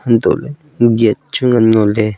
antoh ley gate chu ngan ngo ley.